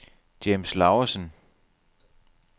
James Lauesen